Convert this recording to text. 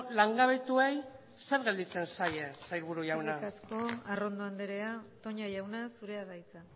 langabetuei zer gelditzen zaie sailburu jauna eskerrik asko arrondo andrea toña jauna zurea da hitza